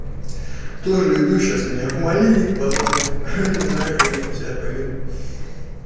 тоже иду сейчас меня в малинник позвали а не знаю как я там себя поведу